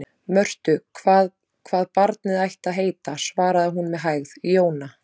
Mörtu hvað barnið ætti að heita, svaraði hún með hægð: Jóna.